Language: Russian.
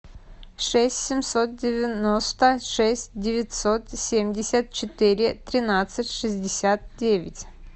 шесть семьсот девяносто шесть девятьсот семьдесят четыре тринадцать шестьдесят девять